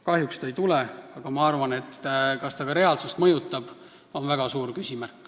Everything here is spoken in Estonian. Kahjuks ta ei tule, aga ma arvan, et on väga suur küsimärk, kas ta ka reaalsust mõjutab.